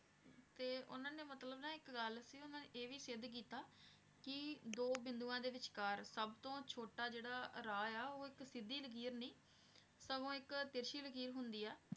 ਤੇ ਉਹਨਾਂ ਨੇ ਮਤਲਬ ਨਾ ਇੱਕ ਗੱਲ ਸੀ ਉਹਨਾਂ ਨੇ ਇਹ ਵੀ ਸਿੱਧ ਕੀਤਾ, ਕਿ ਦੋ ਬਿੰਦੂਆਂ ਦੇ ਵਿਚਕਾਰ ਸਭ ਤੋਂ ਛੋਟਾ ਜਿਹੜਾ ਰਾਹ ਆ ਉਹ ਇੱਕ ਸਿੱਧੀ ਲਕੀਰ ਨਹੀਂ, ਸਗੋਂ ਇੱਕ ਤਿਰਛੀ ਲਕੀਰ ਹੁੰਦੀ ਹੈ।